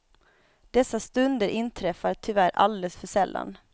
Dessa stunder inträffar tyvärr alldeles för sällan.